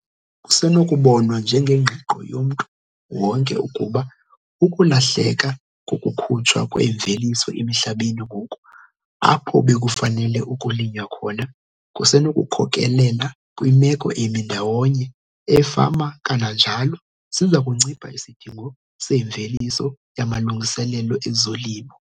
Kusenokubonwa njengengqiqo yomntu wonke ukuba ukulahleka kokukhutshwa kwemveliso emihlabeni ngoku apho bekufanele ukulinywa khona kusenokukhokelela kwimeko emi ndawonye eefama kananjalo siza kuncipha isidingo semveliso yamalungiselelo ezolimo.